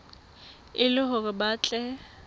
e le hore ba tle